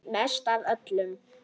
Mest af öllum.